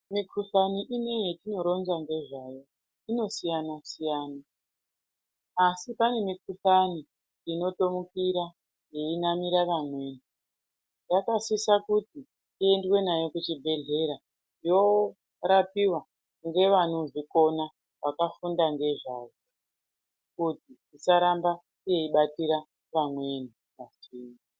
Mikhuhlani ineyi yatinoronza ngezvayo, inoasiyana-siyana, asi pane mikhuhlani inotomukira yeimamira vamweni. Yakasisa kuti, iendwe nayo kuchibhedhlera, yoorapiwa ngevanozvikona, vakafunda ngezvayo, kuti isaramba yeibatira vamweni va....